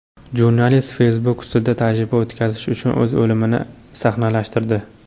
Jurnalist Facebook ustida tajriba o‘tkazish uchun o‘z o‘limini sahnalashtirdi.